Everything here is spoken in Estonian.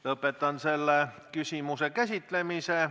Lõpetan selle küsimuse käsitlemise.